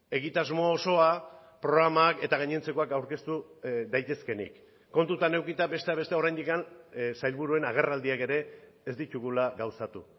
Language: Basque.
egitasmo osoa programak eta gainontzekoak aurkeztu daitezkeenik kontutan edukita besteak beste oraindik sailburuen agerraldiak ere ez ditugula gauzatu